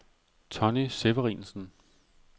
Tonny Severinsen